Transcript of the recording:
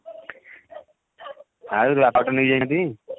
ଆଉ ତୋ ବାପା ଠୁ ନେଇଯାଇନାହାନ୍ତି